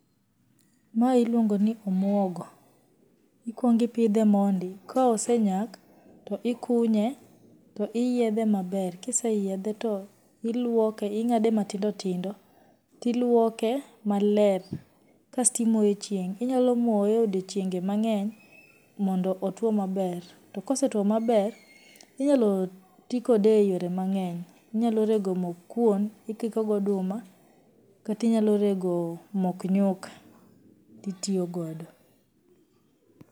Mae iluongoni omuogo. Ikuongo ipidhe mondi, ka osenyak to ikunye to iyiedhe maber, ka iseyiedhe to iluoke ing'ade matindotindo to iluoke maler kasto imoye e chieng', inyalo moye e odiechienge mang'eny mondo otuo maber, to kosetuo maber, inyalotii kode e yore mang'eny, inyalorego mok kuon ikiko gi oduma kata inyalorego mok nyuka to itiyogodo.